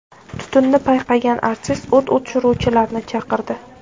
Tutunni payqagan artist o‘t o‘chiruvchilarni chaqirdi.